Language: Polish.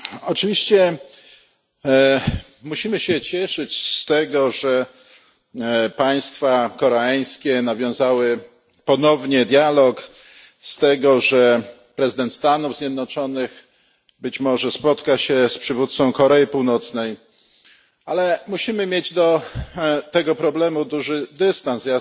Oczywiście musimy się cieszyć z tego, że państwa koreańskie nawiązały ponownie dialog, z tego, że prezydent Stanów Zjednoczonych być może spotka się z przywódcą Korei Północnej, ale musimy mieć do tego problemu duży dystans.